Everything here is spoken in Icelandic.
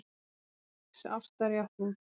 Það er ágætis ástarjátning.